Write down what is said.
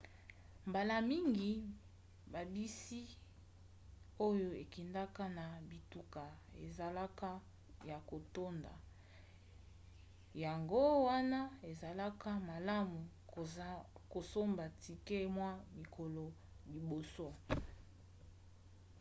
mbala mingi babisi oyo ekendaka na bituka ezalaka ya kotonda yango wana ezalaka malamu kosomba tike mwa mikolo liboso